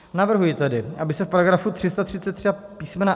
Navrhuji tedy, aby se v § 333 písm.